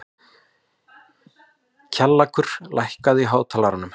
Kjallakur, lækkaðu í hátalaranum.